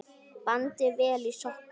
Bandið vel í sokka.